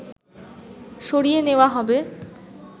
সরিয়ে নেওয়া হবে